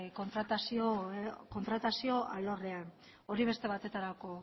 kontratazio alorrean hori beste baterako